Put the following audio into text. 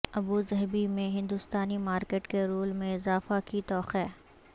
Abu Dhabi میں ہندوستانی market کے رول میں اضافہ کی توقع